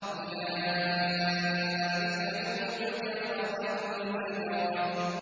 أُولَٰئِكَ هُمُ الْكَفَرَةُ الْفَجَرَةُ